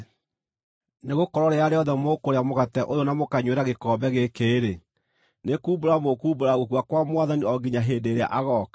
Nĩgũkorwo rĩrĩa rĩothe mũkũrĩa mũgate ũyũ na mũkanyuĩra gĩkombe gĩkĩ-rĩ, nĩkuumbũra mũkuumbũra gũkua kwa Mwathani o nginya hĩndĩ ĩrĩa agooka.